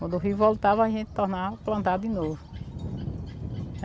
Quando o rio voltava, a gente tornava, plantava de novo.